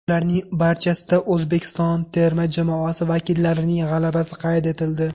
Ularning barchasida O‘zbekiston terma jamoasi vakillarining g‘alabasi qayd etildi.